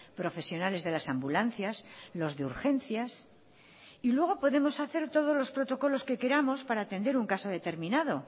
profesionales de las ambulancias los de urgencias y luego podemos hacer todos los protocolos que queramos para atender un caso determinado